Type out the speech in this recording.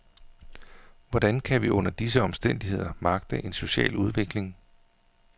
Hvordan kan vi under disse omstændigheder magte en social udvikling.